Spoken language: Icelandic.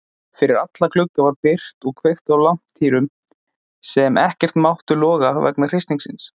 Fyrir alla glugga var byrgt og kveikt á lampatýrum sem ekkert máttu loga vegna hristingsins.